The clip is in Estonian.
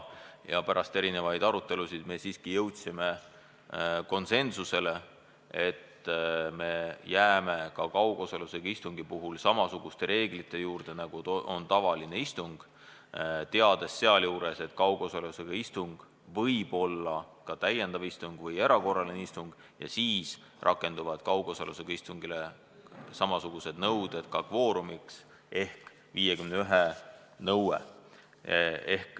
Pärast arutelusid jõudsime siiski konsensusele, et me jääme ka kaugosalusega istungi puhul samasuguste reeglite juurde, nagu on tavalisel istungil, teades sealjuures, et kaugosalusega istung võib olla ka täiendav istung või erakorraline istung ja sel juhul rakenduvad kaugosalusega istungile ka samasugused kvoorumitingimused ehk 51 nõue.